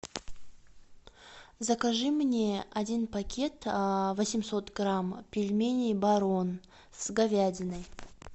закажи мне один пакет восемьсот грамм пельменей барон с говядиной